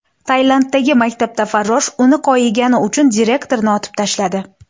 Tailanddagi maktabda farrosh uni koyigani uchun direktorni otib tashladi.